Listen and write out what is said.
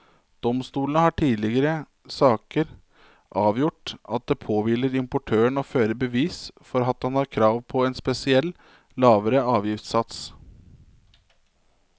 Domstolen har i tidligere saker avgjort at det påhviler importøren å føre bevis for at han har krav på en spesiell, lavere avgiftssats.